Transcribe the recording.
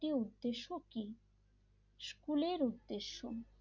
টি উদ্দেশ্য কি স্কুলের উদ্দেশ্য,